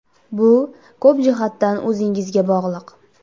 Bu ko‘p jihatdan o‘zingizga bog‘liq.